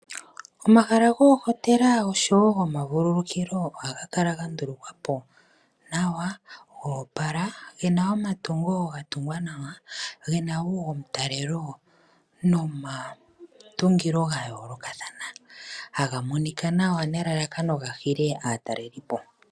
Omahala goohotela oshowo gomavulukukilo ohagakala ga ndulukwa po nawa go opala, gena omatungo ga tungwa nawa, gena wo omutalelo nomatungo ga yoolokathana. Haga monika nawa nelalakano ga hile aatalelipo.